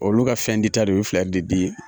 Olu ka fɛn di ta de o be filɛri de di